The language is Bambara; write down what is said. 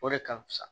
O de ka fusa